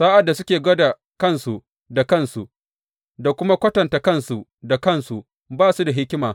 Sa’ad da suke gwada kansu da kansu, da kuma kwatanta kansu da kansu, ba su da hikima.